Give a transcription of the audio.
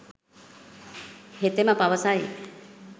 හෙතෙම පවස යි.